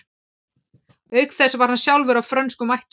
Auk þess var hann sjálfur af frönskum ættum.